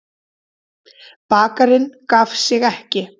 Bakarinn gaf sig ekki.